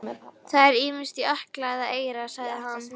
Það er ýmist í ökla eða eyra, sagði hann.